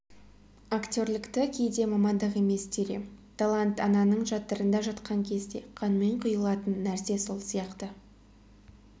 актерлікті кейде мамандық емес дер ем талант ананың жатырында жатқан кезде қанмен құйылатын нәрсе сол сияқты